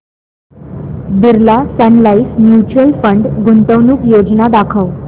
Birla Sun Life mutual fund गुंतवणूक योजना दाखव